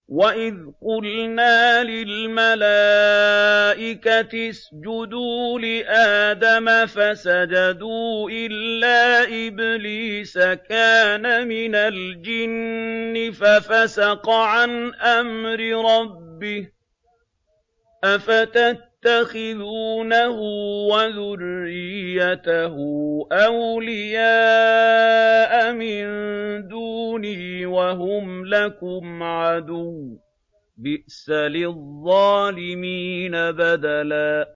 وَإِذْ قُلْنَا لِلْمَلَائِكَةِ اسْجُدُوا لِآدَمَ فَسَجَدُوا إِلَّا إِبْلِيسَ كَانَ مِنَ الْجِنِّ فَفَسَقَ عَنْ أَمْرِ رَبِّهِ ۗ أَفَتَتَّخِذُونَهُ وَذُرِّيَّتَهُ أَوْلِيَاءَ مِن دُونِي وَهُمْ لَكُمْ عَدُوٌّ ۚ بِئْسَ لِلظَّالِمِينَ بَدَلًا